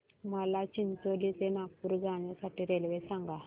मला चिचोली ते नागपूर जाण्या साठी रेल्वे सांगा